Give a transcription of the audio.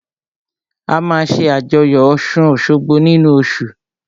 A máa ṣé àjọyọ̀ ọ̀ṣun-òṣogbo nínu oṣù